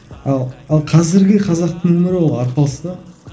ал ал қазіргі қазақтың өмірі ол арпалыс та